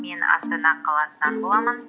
мен астана қаласынан боламын